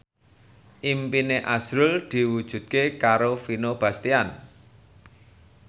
impine azrul diwujudke karo Vino Bastian